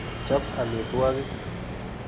Chop amitwogik.